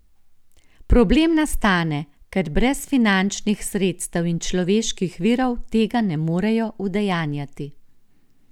Problem nastane, ker brez finančnih sredstev in človeških virov, tega ne morejo udejanjati.